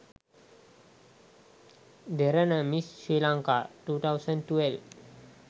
derana miss sri lankan 2012